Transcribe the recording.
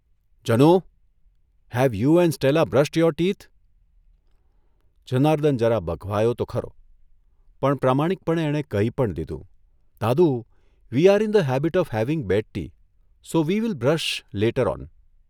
Janu have you and Stella brushed your teeth' Janardan જરા બઘવાયો તો ખરો, પણ પ્રામાણિકપણે એણે કહી પણ દીધું' દાદુ we are in the habit of having bed tea, so we will brush later on.